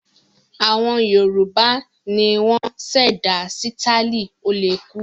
Àwọn Yorùbá ni wọ́n ṣẹ̀dá sítáálì ó-le-kú.